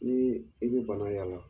Ni i bɛ bana yaala.